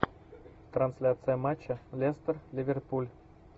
трансляция матча лестер ливерпуль